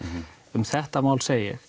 um þetta mál segi ég